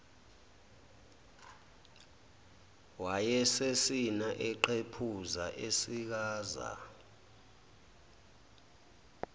wayesesina eqephuza esikaza